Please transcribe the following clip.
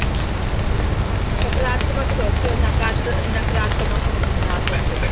ਸਕਾਰਾਤਮਕ ਸੋਚੋ, ਨਕਰਾਤ ਅਹ ਨਕਾਰਾਤਮਕ ਨਾ ਸੋਚੋ।